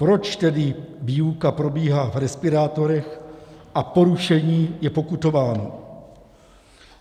Proč tedy výuka probíhá v respirátorech a porušení je pokutováno?